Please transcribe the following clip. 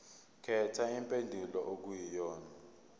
khetha impendulo okuyiyona